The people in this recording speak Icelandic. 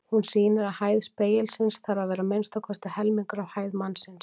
Hún sýnir að hæð spegilsins þarf að vera að minnsta kosti helmingur af hæð mannsins.